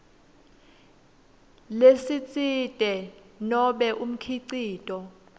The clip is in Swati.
lesitsite nobe umkhicito